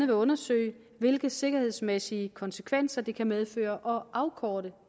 vil undersøge hvilke sikkerhedsmæssige konsekvenser det kan medføre at afkorte